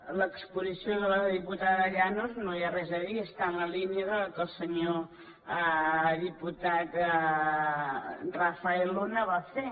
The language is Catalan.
de l’exposició de la diputada llanos no hi ha res a dir està en la línia de la que el senyor diputat rafael luna va fer